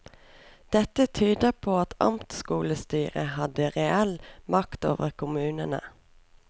Dette tyder på at amtskolestyret hadde reell makt over kommunene.